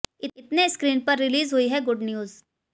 इतने स्क्रिन पर रिलीज हुई है गुड न्यूज